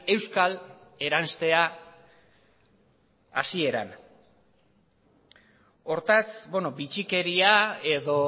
euskal eranstea hasieran hortaz bitxikeria edo